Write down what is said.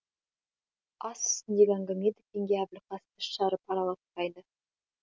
ас үстіндегі әңгіме дүкенге әбілқас тіс жарып араласпайды